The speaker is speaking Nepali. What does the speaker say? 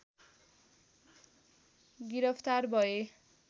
गिरफ्तार भए